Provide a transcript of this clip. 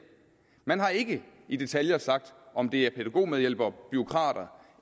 man har ikke i detaljer sagt om det er pædagogmedhjælpere bureaukrater